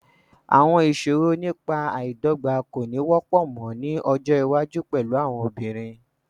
Àwọn ìṣòro nípa àìdọ́gba kò ní wọ́pọ̀ mọ́ ní ọjọ́ iwájú pẹ̀lú àwọn obìnrin.